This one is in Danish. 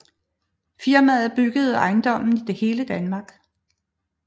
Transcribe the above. Firmaet byggede ejendomme i hele Danmark